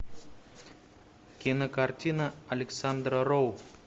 кинокартина александра роу